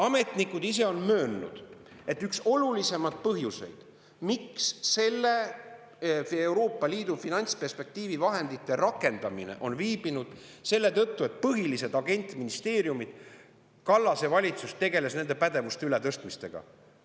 Ametnikud ise on möönnud, et üks olulisemaid põhjuseid, miks selle Euroopa Liidu finantsperspektiivi vahendite rakendamine on viibinud, on see, et Kallase valitsus tegeles põhiliste agentministeeriumide pädevuste ületõstmisega.